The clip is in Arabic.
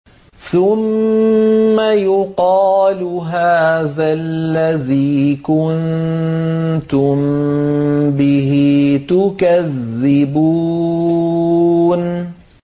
ثُمَّ يُقَالُ هَٰذَا الَّذِي كُنتُم بِهِ تُكَذِّبُونَ